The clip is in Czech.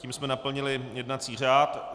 Tím jsme naplnili jednací řád.